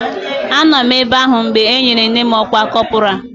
Anọ m ebe ahụ mgbe e nyere nne m ọkwa kọpọraa